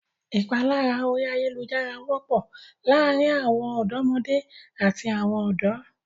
Ìpalára orí ayálujára wọ́pọ̀ láàárin àwọn ọ̀dọ́mọdé àti àwọn ọ̀dọ́.